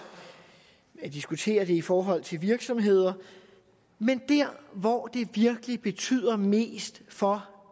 diskuterer det i forhold til virksomheder men der hvor det virkelig betyder mest for